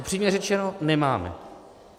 Upřímně řečeno nemáme.